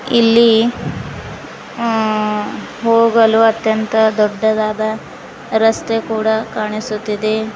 ಇಲ್ಲಿ ಹೂ ಹೋಗಲು ಅತ್ಯಂತ ದೊಡ್ಡದಾದ ರಸ್ತೆ ಕೂಡ ಕಾಣಿಸುತ್ತಿದೆ.